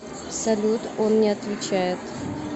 салют он не отвечает